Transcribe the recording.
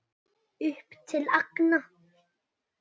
Upp til agna.